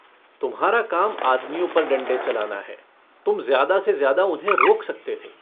तुम्हारा काम आदमियों पर डण्डे चलाना है। तुम ज़्यादा से ज़्यादा उन्हें रोक सकते थे।